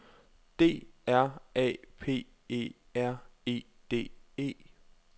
D R A P E R E D E